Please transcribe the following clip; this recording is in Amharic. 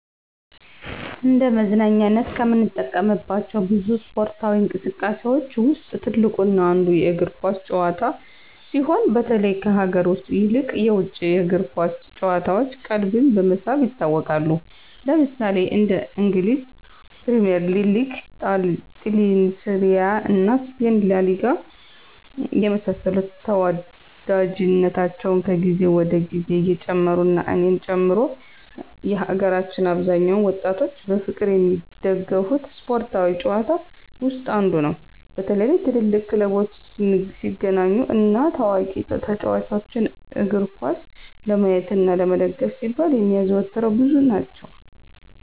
እንደ መዝናኛነት ከምንጠቀምባቸው ብዙ እስፓርታዊ እንቅስቃሴዎች ውስጥ ትልቁ እና አንዱ የእግር ኳስ ጭዋታ ሲሆን በተለይ ከሀገር ውስጥ ይልቅ የውጭ የእግር ኳስ ጭዋታዎች ቀልብን በመሳብ ይታወቃሉ። ለምሳሌ እንደ እንግሊዝ ፕሪሚዬር ሊግ; ጣሊንሴሪያ እና ስፔን ላሊጋ የመሳሰሉት ተዎዳጅነታቸው ከግዜ ወደ ግዜ እየጨመሩ እና እኔን ጨምሮ የሀገራችን አብዛኛውን ወጣቶች በፍቅር የሚደገፉት ስፓርታዊ ጭዋታ ውስጥ አንዱ ነው። በተለይ ትልልቅ ክለቦች ሲገናኙ እና ታዋቂ ተጫዎቾችን እግርኳስ ለማየት እና ለመደገፍ ሲባል የሚያዘወትረው ብዙ ናቸው።